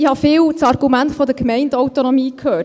Ich habe oft das Argument der Gemeindeautonomie gehört.